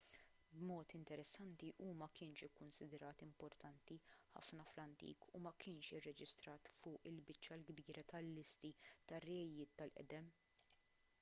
b'mod interessanti hu ma kienx ikkunsidrat importanti ħafna fl-antik u ma kienx irreġistrat fuq il-biċċa l-kbira tal-listi tar-rejiet tal-qedem